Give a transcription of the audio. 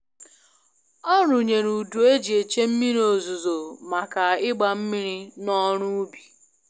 Ọ rụnyere udu e ji eche mmiri ozuzo maka ịgba mmiri na oru ubi